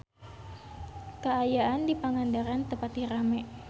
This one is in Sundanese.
Kaayaan di Pangandaran teu pati rame